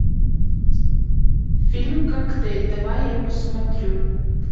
фильм коктейль давай я посмотрю